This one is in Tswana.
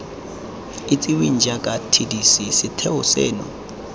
itsiweng jaaka tdc setheo seno